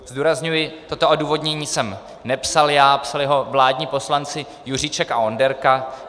Zdůrazňuji, toto odůvodnění jsem nepsal já, psali ho vládní poslanci Juříček a Onderka.